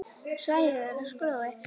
Svæðið er gróið.